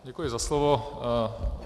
Děkuji za slovo.